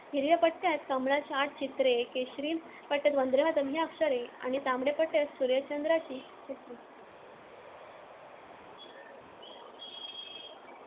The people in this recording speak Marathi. हिरव्या पट्ट्यात कमळाची आठ चित्रे, केशरी पट्ट्यात वंदे मातरम्‌ ही अक्षरे आणि तांबड्या पट्ट्यात सूर्यचंद्राची चित्रे